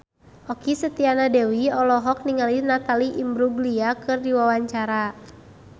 Okky Setiana Dewi olohok ningali Natalie Imbruglia keur diwawancara